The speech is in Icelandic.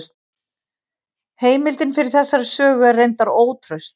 Heimildin fyrir þessari sögu er reyndar ótraust.